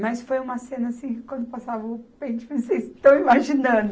Mas foi uma cena assim, que quando passava o pente fino, vocês estão imaginando?